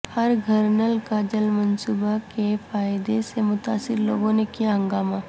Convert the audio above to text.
ہر گھرنل کا جل منصوبہ کے فائدے سے متاثر لوگوں نے کیا ہنگامہ